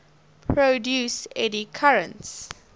produce eddy currents